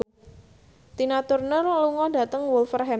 Tina Turner lunga dhateng Wolverhampton